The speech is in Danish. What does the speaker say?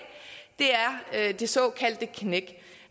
er det såkaldte knæk